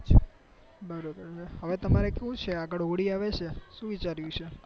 બરોબર હવે તમારે કેવું છે આગળ હોળી આવે છે શું વિચાર્યું છે